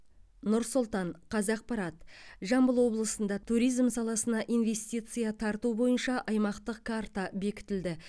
нұр сұлтан қазақпарат жамбыл облысында туризм саласына инвестиция тарту бойынша аймақтық карта бекітілді